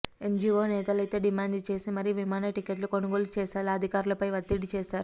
NGO నేతలైతే demand చేసి మరీ విమాన టికెట్లు కొనుగోలుచేసేలా అధికారులపై వత్తిడి చేశారు